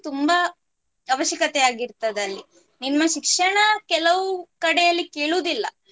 ತುಂಬಾ ಅವಶ್ಯಕತೆ ಆಗಿರ್ತದೆ ಅಲ್ಲಿ. ನಿಮ್ಮ ಶಿಕ್ಷಣ ಕೆಲವು ಕಡೆಯಲ್ಲಿ ಕೇಳುವುದಿಲ್ಲ